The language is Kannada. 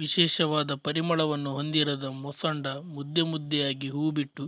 ವಿಶೇಷವಾದ ಪರಿಮಳವನ್ನು ಹೊಂದಿರದ ಮೊಸಂಡಾ ಮುದ್ದೆ ಮುದ್ದೆಯಾಗಿ ಹೂ ಬಿಟ್ಟು